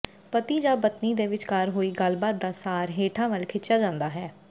ਪਤੀ ਜਾਂ ਪਤਨੀ ਦੇ ਵਿਚਕਾਰ ਹੋਈ ਗੱਲਬਾਤ ਦਾ ਸਾਰ ਹੇਠਾਂ ਵੱਲ ਖਿੱਚਿਆ ਜਾਂਦਾ ਹੈ